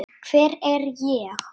Hver er ég?